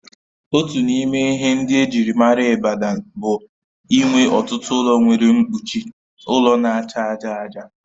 Otu n'ime ihe ndị ejịrị maara Ibadan bụ inwe ọtụtụ ụlọ nwere mkpuchi ụlọ n'acha aja aja